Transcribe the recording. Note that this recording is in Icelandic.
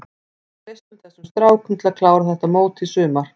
Við treystum þessum strákum til að klára þetta mót í sumar.